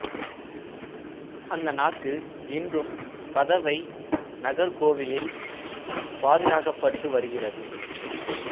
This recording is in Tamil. அந்த நாக்கு இன்றும் பதுவை நகர் கோவிலில் பாதுகாக்கப்பட்டு வருகிறது